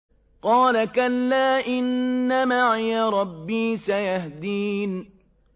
قَالَ كَلَّا ۖ إِنَّ مَعِيَ رَبِّي سَيَهْدِينِ